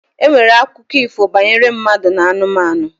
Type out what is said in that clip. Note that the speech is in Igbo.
E nwere akụkọ ifo banyere mmadụ na anụmanụ.